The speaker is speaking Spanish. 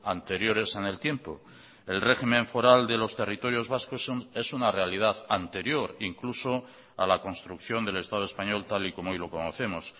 anteriores en el tiempo el régimen foral de los territorios vascos es una realidad anterior incluso a la construcción del estado español tal y como hoy lo conocemos